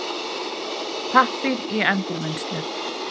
Pappír í endurvinnslu.